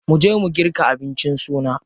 Mu je mu girka abincin suna.